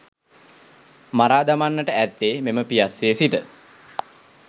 මරා දමන්නට ඇත්තේ මෙම පියස්සේ සිට